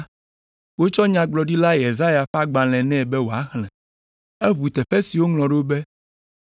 wotsɔ Nyagblɔɖila Yesaya ƒe agbalẽ nɛ be wòaxlẽ. Eʋu teƒe si woŋlɔ ɖo be,